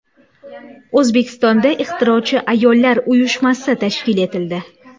O‘zbekistonda Ixtirochi ayollar uyushmasi tashkil etildi.